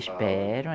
Esperam.